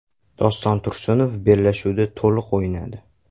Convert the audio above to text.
Doston Tursunov bellashuvda to‘liq o‘ynadi.